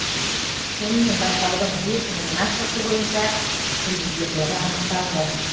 сонымен байқаудың бес номинациясы бойынша жүлдегерлері анықталды